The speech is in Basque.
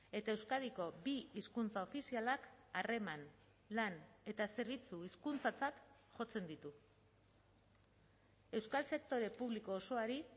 eta euskadiko bi hizkuntza ofizialak harreman lan eta zerbitzu hizkuntzatzat jotzen ditu euskal sektore publiko osoari